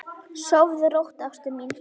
Sofðu rótt, ástin mín.